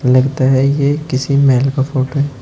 लगता है ये किसी महल का फोटो है।